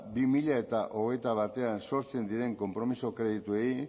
bi mila hogeita batean sortzen diren konpromiso kredituei